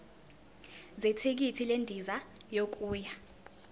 zethikithi lendiza yokuya